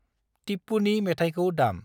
टिप्पुनि मेथायखौ दाम।